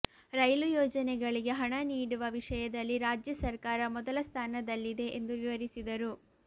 ರೈಲು ಯೋಜನೆಗಳಿಗೆ ಹಣ ನೀಡುವ ವಿಷಯದಲ್ಲಿ ರಾಜ್ಯ ಸರ್ಕಾರ ಮೊದಲ ಸ್ಥಾನದಲ್ಲಿದೆ ಎಂದು ವಿವರಿಸಿದರು